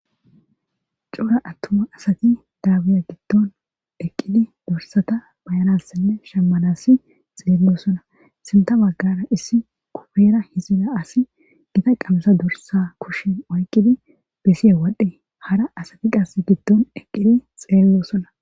Cora attuma asati daabuya giddon eqqidi dorsata bayanassinne shemmanasi xeellosona sinta baggara issi kufeera hizila asi gita qamasa dorsa kushin oyqqidi besi'e wodhdhe hara asati qass giddon eqqidi xeellosonna.